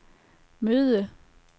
møde